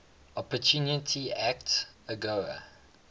opportunity act agoa